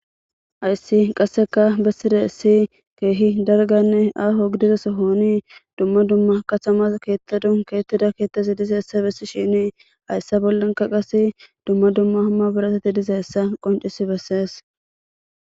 Hayssi qassekka bessidayssi keehi dalgganne aaho gidida sohoni dumma dumma katama keethadan keexetida keethay didayssa besishini hayssa bollankka qasse dumma dumma maabirateti dizayssa qonccisi besees.